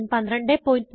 1204